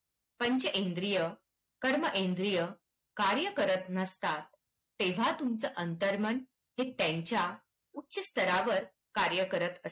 पंचेंद्रीय, कर्म इंद्रियं कार्य करत नसतात तेव्हा तुमचं अंतर्मन हे त्यांच्या उच्चस्तरावर कार्य करत असते.